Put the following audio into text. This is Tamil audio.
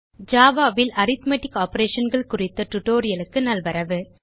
ஜாவா ல் அரித்மெட்டிக் Operationகள் குறித்த tutorialக்கு நல்வரவு